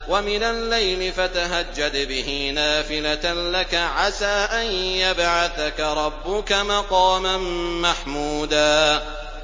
وَمِنَ اللَّيْلِ فَتَهَجَّدْ بِهِ نَافِلَةً لَّكَ عَسَىٰ أَن يَبْعَثَكَ رَبُّكَ مَقَامًا مَّحْمُودًا